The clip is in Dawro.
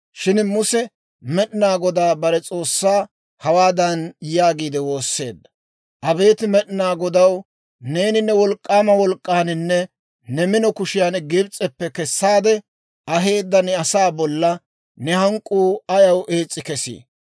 Shin Muse Med'inaa Godaa bare S'oossaa hawaadan yaagiide woosseedda; «Abeet Med'inaa Godaw neeni ne wolk'k'aama wolk'k'aaninne ne mino kushiyaan Gibs'eppe kessaade aheedda ne asaa bolla ne hank'k'uu ayaw ees's'i kesi?